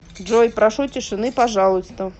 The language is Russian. джой прошу тишины пожалуйста